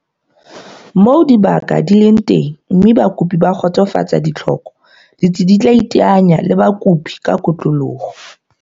Moo dibaka di leng teng mme bakopi ba kgotsofatsa ditlhoko, ditsi di tla iteanya le bakopi ka kotloloho.